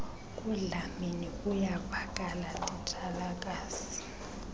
kudlamini kuyavakala titshalakazi